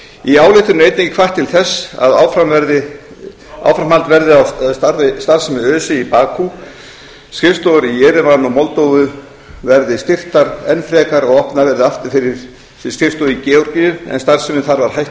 í ályktuninni er einnig hvatt til þess að áframhald verði á starfsemi öse í bakú skrifstofur í jerevan og moldóvu verði styrktar enn frekar og að opnuð verði aftur skrifstofa í georgíu en starfsemi þar var hætt